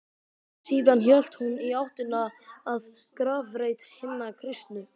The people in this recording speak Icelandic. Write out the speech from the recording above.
Síðan hélt hún í áttina að grafreit hinna kristnu.